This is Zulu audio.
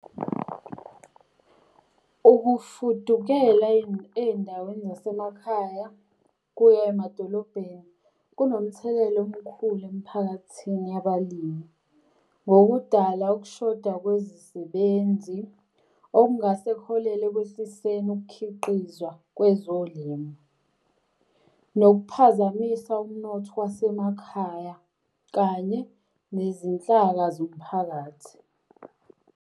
Ukufudukela ey'ndaweni zasemakhaya kuya emadolobheni kunomthelela omkhulu emphakathini yabalimi. Ngokudala ukushoda kwezisebenzi okungase kuholele ekwehliseni ukukhiqizwa kwezolimo, nokukuphazamisa umnotho wasemakhaya, kanye nezinhlaka zomphakathi.